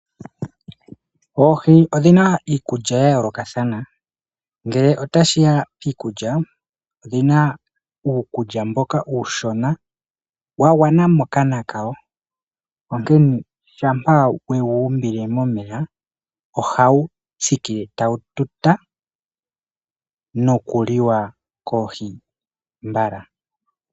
Oohi odhina iikulya yayoolo. Ngele otashiya piikulya, odhina uukulya mboka uushona, wagwana mokana kawo. Onkene shampa we wu umbile momeya ohawu thikile tawu tuta, nokuliwa koohi mbala.